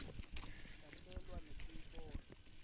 sakhelwa netikolo